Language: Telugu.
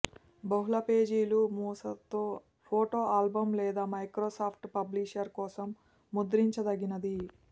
బహుళ పేజీలు మూస తో ఫోటో ఆల్బమ్ లేదా మైక్రోసాఫ్ట్ పబ్లిషర్ కోసం ముద్రించదగినది